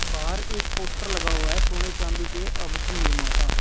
बाहर एक पोस्टर लगा हुआ है सोने चांदी के आभूषण निर्माता।